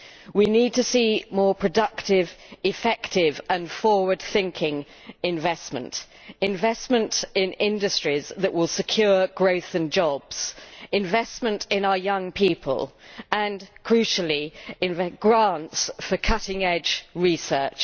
We need to see more productive, effective and forward-thinking investment, investment in industries that will secure growth and jobs, investment in our young people and, crucially, grants for cutting-edge research.